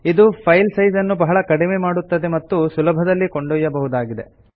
ಇದು file size ನ್ನು ಬಹಳವಾಗಿ ಕಡಿಮೆ ಮಾಡುತ್ತದೆ ಮತ್ತು ಸುಲಭದಲ್ಲಿ ಕೊಂಡೊಯ್ಯಬಹುದಾಗಿದೆ